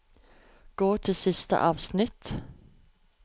Gå til siste avsnitt